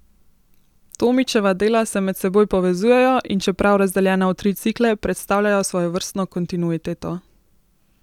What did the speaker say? Tomičeva dela se med seboj povezujejo, in čeprav razdeljena v tri cikle, predstavljajo svojevrstno kontinuiteto.